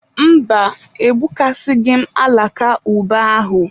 Mba, egbukasịghị m alaka ube ahụ.